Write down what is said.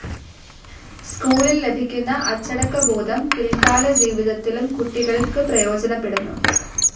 സ്കൂളിൽ ലഭിക്കുന്ന അച്ചടക്കബോധം പിൽകാലജീവിതത്തിലും കുട്ടികൾക്ക് പ്രയോജനപ്പെടുന്നു.